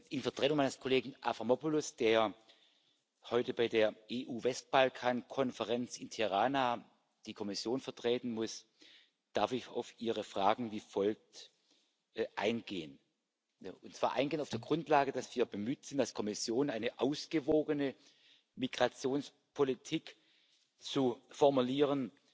In Vertretung meines Kollegen Avramopoulos, der heute bei der EU Westbalkan Konferenz in Tirana die Kommission vertreten muss, darf ich auf Ihre Fragen wie folgt eingehen, und zwar auf der Grundlage, dass wir bemüht sind, als Kommission eine ausgewogene Migrationspolitik zu formulieren,